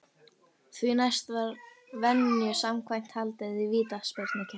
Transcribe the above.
Því næst var venju samkvæmt haldið í vítaspyrnukeppni.